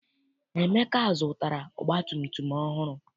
Emeka zụtara ọgbatumtum ọhụrụ.